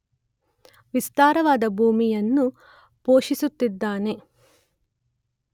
ವಿಸ್ತಾರವಾದ ಭೂಮಿಯನ್ನು ಪೋಷಿಸುತ್ತಿದ್ದಾನೆ.